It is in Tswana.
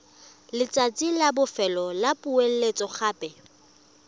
letsatsi la bofelo la poeletsogape